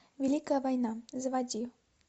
великая война заводи